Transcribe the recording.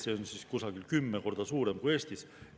See on umbes kümme korda suurem kui Eestis.